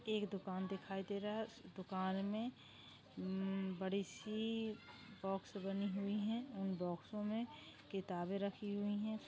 एक दुकान दिखाई दे रहा है उस दुकान मे हम्म बडीसी बॉक्स बनी हुई है उन बॉक्सोमे किताबे रखी हुई है।